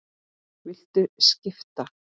Viltu skipta?